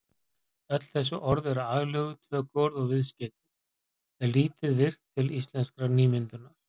Öll þessi orð eru aðlöguð tökuorð og viðskeytið er lítið virkt til íslenskrar nýmyndunar.